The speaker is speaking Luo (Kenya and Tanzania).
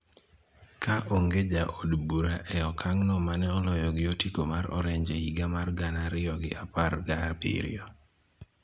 ka onge ja od bura e okang' no mane oloyo gi otiko mar Orange e higa mar gana ariyo gi apar gabiriyo.